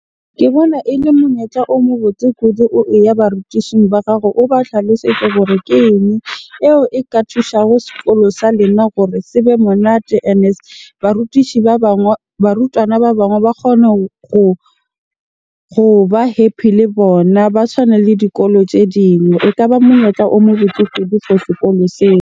Ke bona ele monyetla o mo botse kudu. Barutishing ba gago o ba hlalosetse hore ke eng eo e ka thusa ho sekolo sa lena gore se be monate. Ene barutishi ba bangwe, barutwana ba bangwe ba kgone goba happy le bona. Ba tshwane le dikolo tse dingwe. Ekaba monyetla o mo botse kudu for sekolo seo.